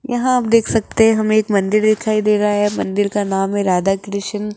यहां आप देख सकते हैं हमें एक मंदिर दिखाई दे रहा है मंदिर का नाम है राधा कृष्ण।